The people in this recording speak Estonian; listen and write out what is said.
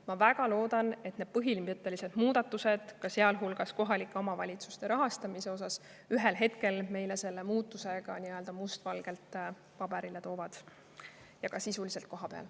Ma väga loodan, et need põhimõttelised muudatused, sealhulgas kohalike omavalitsuste rahastamise osas, ühel hetkel meile selle muutuse ka must valgel välja toovad, ja seda ka sisuliselt kohapeal.